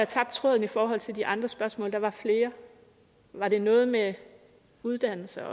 tabt tråden i forhold til de andre spørgsmål der var flere var det noget med uddannelse